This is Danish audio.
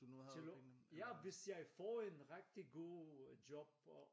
Til øh ja hvis jeg får en rigtig god job og